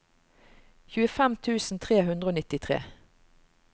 tjuefem tusen tre hundre og nittitre